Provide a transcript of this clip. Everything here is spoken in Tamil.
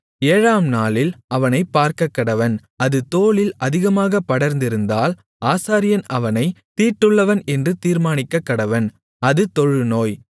ஏழாம்நாளில் அவனைப் பார்க்கக்கடவன் அது தோலில் அதிகமாகப் படர்ந்திருந்தால் ஆசாரியன் அவனைத் தீட்டுள்ளவன் என்று தீர்மானிக்கக்கடவன் அது தொழுநோய்